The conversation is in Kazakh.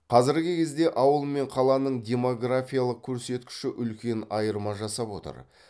қазіргі кезде ауыл мен қаланың демографиялық көрсеткіші үлкен айырма жасап отыр